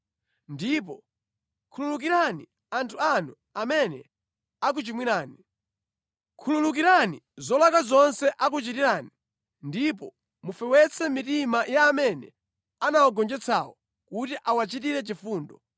Ndipo khululukirani anthu anu amene akuchimwirani. Khululukirani zolakwa zonse akuchitirani ndipo mufewetse mitima ya amene anawagonjetsawo kuti awachitire chifundo;